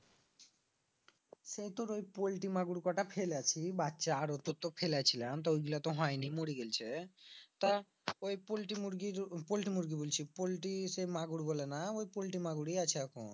সেই তোর ওই পোল্টি মাগুর কটা ফেলেছি বাচ্চা আর তোর তো ফেলেছিলাম তো ওইগুলা তো হয়নি মরি গেছে তা ওই পোলটি মুরগি, পোল্টি মুরগি বলছি পোল্টি সে মাগুর গুলো না ওই পোল্টি মাগুরই আছে এখন